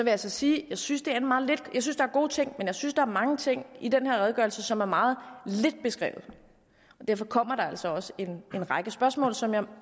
jeg sige at jeg synes der er gode ting men jeg synes også der er mange ting i den her redegørelse som er meget lidt beskrevet derfor kommer der altså også en række spørgsmål som jeg